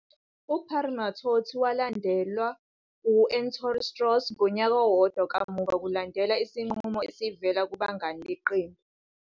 UParamithiotti walandelwa u-Ettore Strauss ngonyaka owodwa kamuva kulandela isinqumo esivela kubangane beqembu.